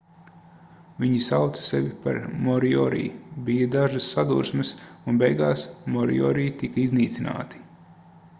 viņi sauca sevi par moriori bija dažas sadursmes un beigās moriori tika iznīcināti